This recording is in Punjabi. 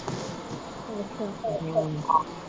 ਅੱਛਾ।